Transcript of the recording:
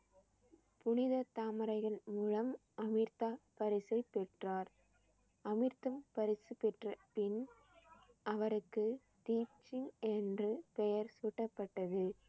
புனித தாமரைகள் மூலம் அமிர்தம் பரிசை பெற்றார். அமிர்தம் பரிசு பெற்ற பின் அவருக்கு தீப் சிங் என்று பெயர் சூட்டப்பட்டது